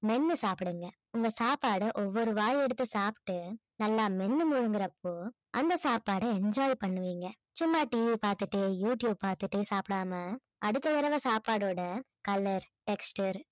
மென்னு சாப்பிடுங்க உங்க சாப்பாட ஒவ்வொரு வாய் எடுத்து சாப்பிட்டு நல்லா மென்னு முழுங்கறப்போ அந்த சாப்பாடை enjoy பண்ணுவீங்க சும்மா TV பார்த்துட்டே யூடியூப் பார்த்துட்டே சாப்பிடாம அடுத்த தடவை சாப்பாடோட color, texture